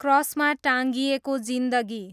क्रसमा टाँगिएको जिन्दगी